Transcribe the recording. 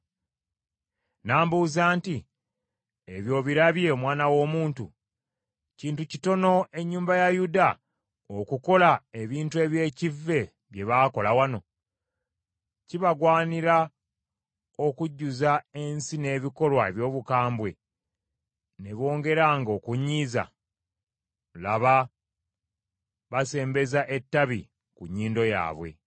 N’ambuuza nti, “Ebyo obirabye, omwana w’omuntu? Kintu kitono ennyumba ya Yuda okukola ebintu eby’ekivve bye baakola wano? Kibagwanira okujjuza ensi n’ebikolwa eby’obukambwe ne bongeranga okunyiiza? Laba basembeza ettabi ku nnyindo yaabwe!